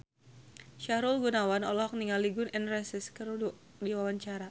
Sahrul Gunawan olohok ningali Gun N Roses keur diwawancara